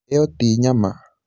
ĩyo ti nyama